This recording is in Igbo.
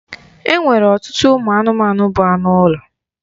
E nwere ọtụtụ ụmụ anụmanụ bụ anụ ụlọ.